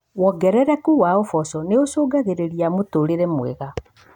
Wongerereku wa uboco nĩ ũcũngagĩrĩria mũtũrire mwega